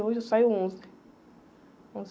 Hoje eu saio onze, onze